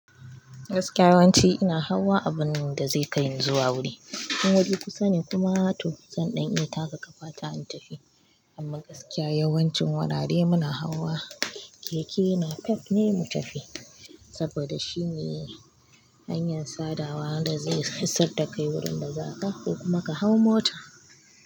Gaskiya yawanci ina hawa abun da zai kaini zuwa wuri. In wuri kusa ne kuma to zan ɗan iya taka ƙafata in tafi. Amma gaskiya yawancin wurare muna hawa keke napep ne mu tafi, saboda shine hanyar sadawa da zai hisar ta kai wurin da za ka ko kuma ka hau mota.